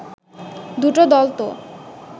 দুটো দল তো